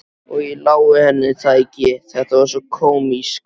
Og ég lái henni það ekki, þetta var svo kómískt.